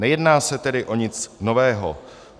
Nejedná se tedy o nic nového.